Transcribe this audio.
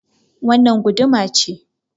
Wannan guduma ce.